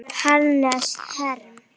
Hannes Herm.